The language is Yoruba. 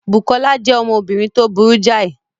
Bùkọ́lá jẹ́ ọmọbìnrin tó burú jáì